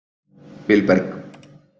Vilberg